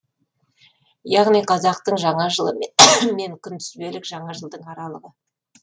яғни қазақтың жаңа жылы мен күнтізбелік жаңа жылдың аралығы